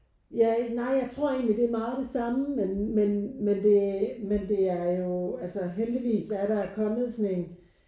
Ja nej jeg tror egentlig det er meget det samme men men men det men det er jo altså heldigvis der kommet sådan en